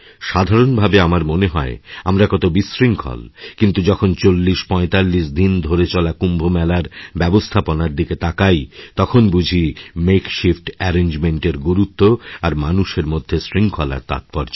সাধারণভাবে আমার মনে হয় আমরা কত বিশৃঙ্খল কিন্তু যখন ৪০৪৫দিন ধরে চলা কুম্ভ মেলার ব্যবস্থাপনার দিকে তাকাই তখন বুঝি মেকশিফট অ্যারেঞ্জমেন্ট এর গুরুত্ব আর মানুষের মধ্যে শৃঙ্খলার তাৎপর্য